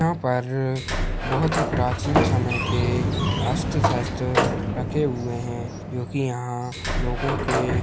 यहाँ पर बहोत ही प्राचीन समय के अस्त्र-शस्त्र रखे हुए हैं जो कि यहाँ लोगों के --